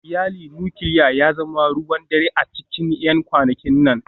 Iyalin nukiliya ya zama ruwan dare a cikin 'yan kwanakin nan